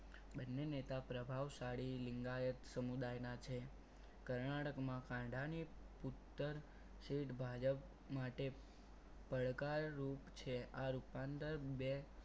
બંને નેતા પ્રભાવશાળી નિગાયક સમુદાયના છે કર્ણાટકમાં કાંટા ની ઉત્તર સીટ ભાજપ માટે પડકારરૂપ છે. આ રૂપાંતર બે